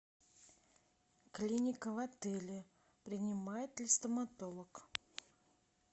клиника в отеле принимает ли стоматолог